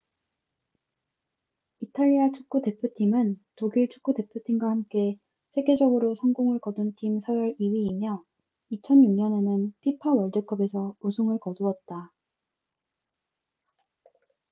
이탈리아 축구 대표팀은 독일 축구 대표팀과 함께 세계적으로 성공을 거둔 팀 서열 2위이며 2006년에는 fifa 월드컵에서 우승을 거두었다